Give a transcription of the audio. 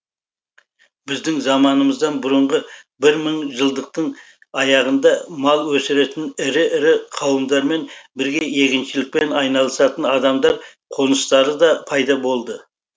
біздің заманымыздан бұрынғы бір мың жылдықтың аяғында мал өсіретін ірі ірі қауымдармен бірге егіншілікпен айналысатын адамдар қоныстары да пайда болды